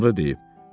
Sonra deyib.